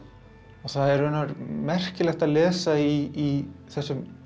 það er merkilegt að lesa í þessum